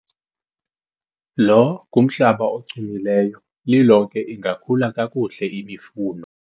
lo ngumhlaba ochumileyo, lilonke ingakhula kakuhle imifuno